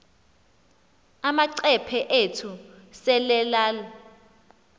amacephe ethu selelal